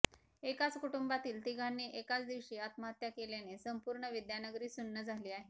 एकाच कुटुंबातील तिघांनी एकाच दिवशी आत्महत्या केल्याने संपूर्ण विद्यानगरी सुन्न झाली आहे